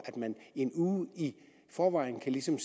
at man en uge i forvejen ligesom